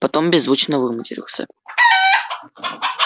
потом беззвучно выматерился